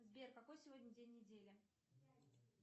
сбер какой сегодня день недели